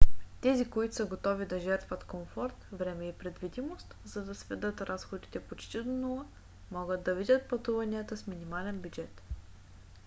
тези които са готови да жертват комфорт време и предвидимост за да сведат разходите почти до нула могат да видят пътуванията с минимален бюджет